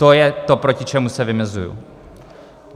To je to, proti čemu se vymezuji.